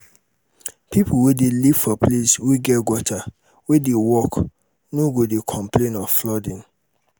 pipo wey dey live for place wey get gutter wey dey work no go de complain of flooding